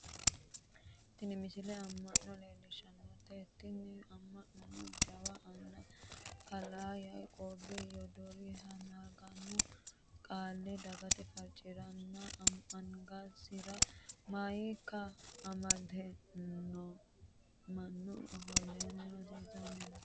tini misile amma'no leellishshanote tini amma'nono jawa anna kalaa yaiqooowi yoddoriha maganu qaale dagate farcirannna angasira mayiika amade mannu ofolleenna rosiisanni no